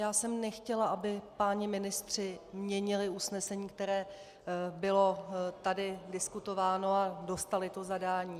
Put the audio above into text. Já jsem nechtěla, aby páni ministři měnili usnesení, které tady bylo diskutováno, a dostali to zadání.